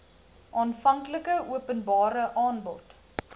aanvanklike openbare aanbod